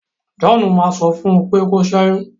John ma sọ fún u pé kí o ṣẹyun.